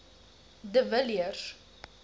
de villiers